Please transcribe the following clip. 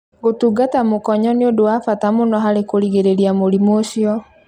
Kũtungata mũkonyo nĩ ũndũ wa bata mũno harĩ kũgirĩrĩria mũrimũ ũcio.